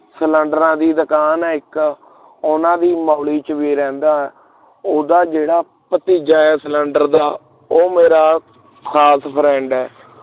ਸਿਲੇੰਡਰਾ ਦੀ ਦੁਕਾਨ ਹੈ ਇਕ ਉਨ੍ਹਾਂ ਦੀ ਮੋਂਲੀ ਵਿੱਚ ਵੀ ਰਹਿੰਦਾ ਹਾਂ ਉਹਦਾ ਜੋੜਾ ਭਤੀਜਾ ਹੈਂ ਸਿਲੰਡਰ ਦਾ ਉਹ ਮੇਰਾ ਖਾਸ friend ਹੈ